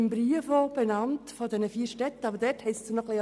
Der Brief ist von vier Städten unterzeichnet.